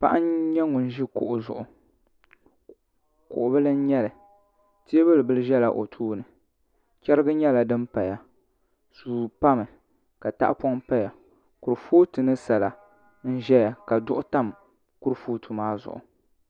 Paɣa n nyɛ ŋun ʒi kuɣu zuɣu kuɣu bili n nyɛli teebuli ʒɛla o tooni chɛrigi nyɛla din paya suu pami ka tahapoŋ paya kurifooti ni sala n ʒɛya ka duɣu tam kurifooti maa zuɣu